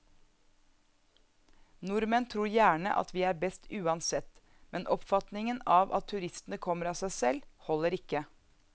Nordmenn tror gjerne at vi er best uansett, men oppfatningen av at turistene kommer av seg selv, holder ikke.